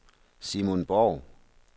Simon Borg